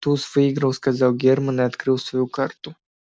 туз выиграл сказал германн и открыл свою карту